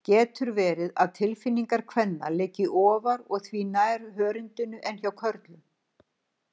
Getur verið að tilfinningar kvenna liggi ofar og því nær hörundinu en hjá körlum?